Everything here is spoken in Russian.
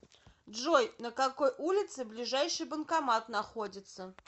джой на какой улице ближайший банкомат находится